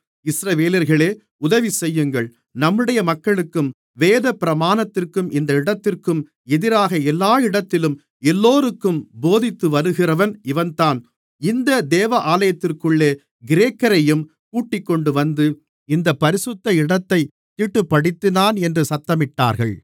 இஸ்ரவேலர்களே உதவிசெய்யுங்கள் நம்முடைய மக்களுக்கும் வேதப்பிரமாணத்திற்கும் இந்த இடத்திற்கும் எதிராக எல்லா இடத்திலும் எல்லோருக்கும் போதித்துவருகிறவன் இவன்தான் இந்த தேவாலயத்திற்குள்ளே கிரேக்கரையும் கூட்டிக்கொண்டுவந்து இந்த பரிசுத்த இடத்தைத் தீட்டுப்படுத்தினான் என்று சத்தமிட்டார்கள்